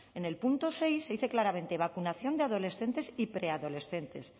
en el punto seis se dice claramente vacunación de adolescentes y preadolescentes